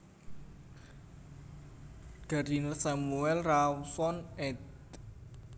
Gardiner Samuel Rawson ed